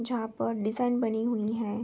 जहां पर डिजाइन बनी हुई है।